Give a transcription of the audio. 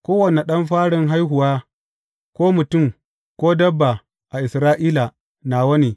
Kowane ɗan farin haihuwa, ko mutum, ko dabba a Isra’ila, nawa ne.